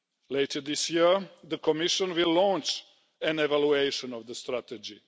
Later this year, the Commission will launch an evaluation of the strategy.